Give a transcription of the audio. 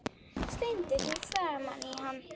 Slengdi því framan í hann.